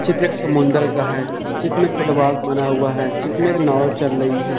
चित्र एक समुद्र का है चित्र में फुटबॉल बना हुआ है चित्र में नाव चल रही है।